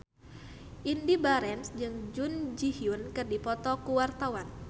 Indy Barens jeung Jun Ji Hyun keur dipoto ku wartawan